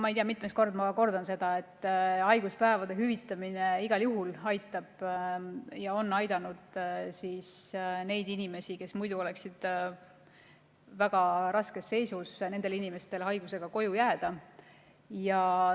Ma ei tea, mitmendat korda ma seda kordan, et haiguspäevade hüvitamine igal juhul aitab ja on aidanud neid inimesi, kes muidu oleksid väga raskes seisus haiguse tõttu koju jäädes.